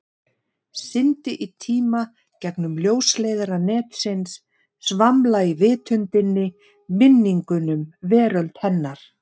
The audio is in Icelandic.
Syndi í tíma, gegnum ljósleiðara netsins, svamla í vitundinni, minningum, veröld hennar.